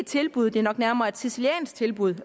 tilbud det er nok nærmere et siciliansk tilbud